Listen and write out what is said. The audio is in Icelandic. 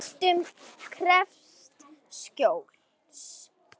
Ræktun krefst skjóls.